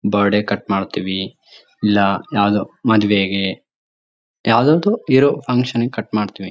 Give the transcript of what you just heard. Birthday ಗ್ cut ಮಾಡ್ತೀವಿ ಇಲ್ಲ ಯಾವುದೋ ಮದ್ವೆಗೆ ಯಾವದಾದ್ರು ಇರೋ ಫ್ಯಾಂಕ್ಷನ್ ಗೆ ಕಟ್ ಮಾಡ್ತೀವಿ.